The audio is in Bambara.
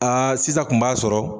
Aa sisan kun b'a sɔrɔ